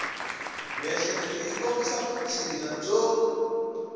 miehleketo yi kombisa vutshila byo